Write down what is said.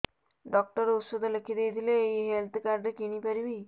doctor ଔଷଧ ଲେଖିଦେଇଥିଲେ ଏଇ ହେଲ୍ଥ କାର୍ଡ ରେ କିଣିପାରିବି